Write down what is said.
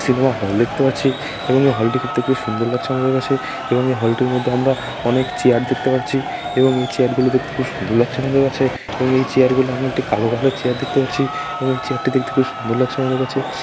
Cinema hall দেখতে পাচ্ছি এবং হল টিকে দেখতে খুব সুন্দর লাগছে আমাদের কাছে এবং হল টির মধ্যে আমরা অনেক চেয়ার দেখতে পাচ্ছি এবং এই চেয়ার গুলো দেখতে খুব সুন্দর লাগছে আমাদের কাছে এবং এই চেয়ার গুলো আমরা একটি কালো কালার চেয়ার দেখতে পাচ্ছি এবং এই চেয়ার টি দেখতে খুব সুন্দর লাগছে আমাদের কাছে ।